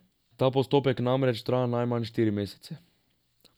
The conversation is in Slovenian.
Ta postopek namreč traja najmanj štiri mesece.